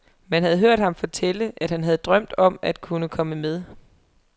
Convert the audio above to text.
Man havde hørt ham fortælle, at han havde drømt om at kunne komme med.